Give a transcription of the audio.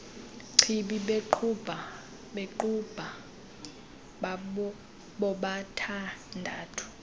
chibi bequbha bobathandathu